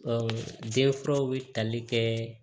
jɛkuluw bɛ tali kɛ